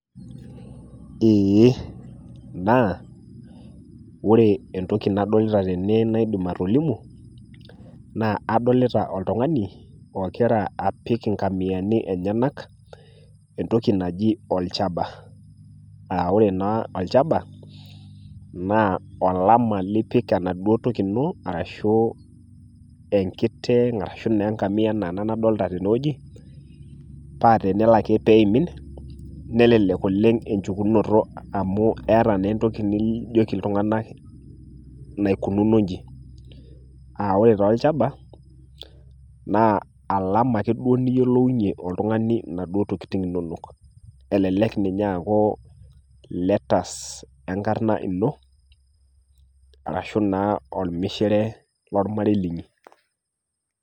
Eeh naa ore entoki nadolita tene naidim atolimu naa adolita oltung'ani ogira apik ingamiani enyenak entoki naji olchaba, aa ore naa olchaba naa olama lipik enaduo toki inoo arashu enkiteng' arashuu naaengamia anaa ena nadolta tenewueji paa teneloake peeimin nelelek oleng' enchukunoto amu eata naa entoki nijoki iltung'ana naikununo inji. [Aa] ore taaolchaba naa  alama ake duoo niyiolounye oltung'ani naduo tokitin inonok, elelek ninye eakuu  letters enkarna ino arashu naa olmishire lolmarei linyi.